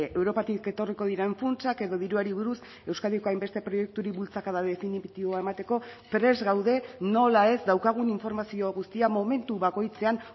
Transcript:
europatik etorriko diren funtsak edo diruari buruz euskadiko hainbeste proiekturi bultzakada definitiboa emateko prest gaude nola ez daukagun informazio guztia momentu bakoitzean